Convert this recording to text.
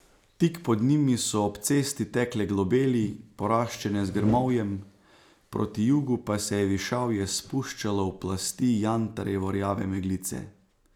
Tik pod njimi so ob cesti tekle globeli, poraščene z grmovjem, proti jugu pa se je višavje spuščalo v plasti jantarjevo rjave meglice.